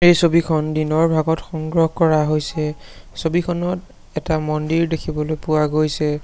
ছবিখন দিনৰ ভাগত সংগ্ৰহ কৰা হৈছে ছবিখনত এটা মন্দিৰ দেখিবলৈ পোৱা গৈছে।